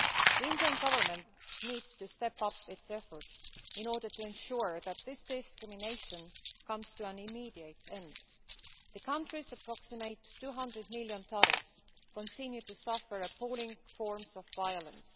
The Indian Government needs to step up its efforts in order to ensure that this discrimination comes to an immediate end. The country's 200 million or so Dalits continue to suffer appalling forms of violence.